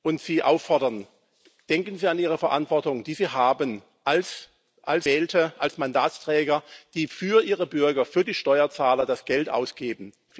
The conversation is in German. und Sie auffordern Denken Sie an Ihre Verantwortung, die Sie haben als Gewählte, als Mandatsträger, die für ihre Bürger, für die Steuerzahler das Geld ausgeben.